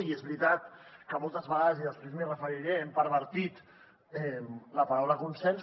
i és veritat que moltes vegades i després m’hi referiré hem pervertit la paraula consens